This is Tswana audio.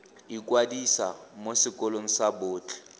ikwadisa mo sekolong sa botlhe